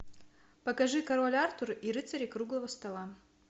покажи король артур и рыцари круглого стола